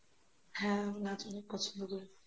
হ্যাঁ আমি নাচ অনেক পছন্দ করি